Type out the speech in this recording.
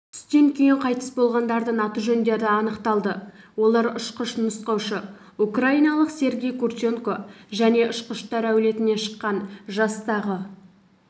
түстен кейін қайтыс болғандардың аты-жөндері анықталды олар ұшқыш-нұсқаушы украиналық сергей курченко және ұшқыштар әулетінен шыққан жастағы